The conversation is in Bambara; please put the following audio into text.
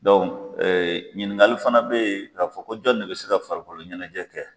ɲininkali fana be yen, k'a fɔ ko jɔn de bi se ka farikolo ɲɛnajɛ kɛ